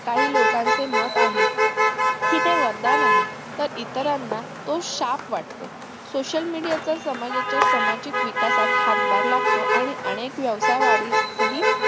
काही लोकांचे मत आहे कि ते वरदान आहे तर इतरांना ते शाप वाटतो social media चा समाजाच्या सामाजिक विकासात हातभार लागतो आणि अनेक व्यवसाय वाढीस हि